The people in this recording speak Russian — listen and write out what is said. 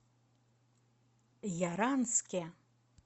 яранске